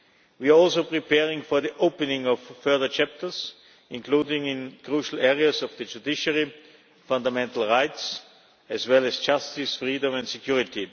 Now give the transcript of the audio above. We are also preparing for the opening of further chapters, including in crucial areas of the judiciary and fundamental rights, as well as justice, freedom and security.